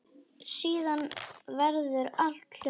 Síðan verður allt hljótt.